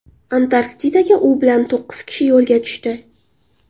Antarktidaga u bilan to‘qqiz kishi yo‘lga tushdi.